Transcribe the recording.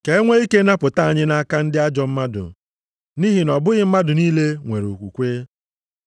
Ka e nwee ike napụta anyị nʼaka ndị ajọ mmadụ, nʼihi na ọ bụghị mmadụ niile nwere okwukwe.